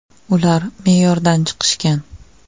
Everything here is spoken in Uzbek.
“Ular me’yordan chiqishgan”.